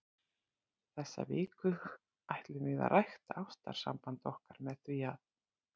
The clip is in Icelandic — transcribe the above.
Þessa viku ætlum við að rækta ástarsamband okkar með því að.